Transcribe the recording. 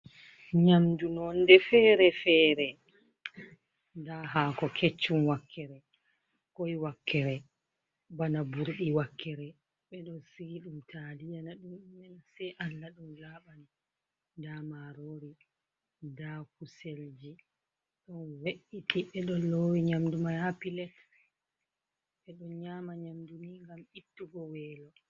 Nyamdu nonde fere-fere, nda hako keccum wakkere, koi wakkere, bana burei wakkere, ɓeɗon siili ɗum taliyana ɗum ɗumena sei allah ɗum laɓani, nda marori, nda kuselji don ve’’iti ɓeɗon lowi nyamdu mai hapilet, ɓeɗon nyama nyamdu ni ngam ittugo welo.